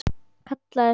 Kallaði svo